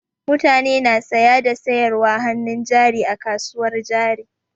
Mutane na saya da sayarwar hannun jari a kasuwar jari.